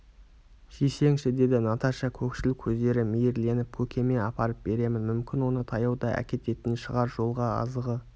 жесеңші деді наташа көкшіл көздері мейірленіп көкеме апарып беремін мүмкін оны таяуда әкететін шығар жолға азығы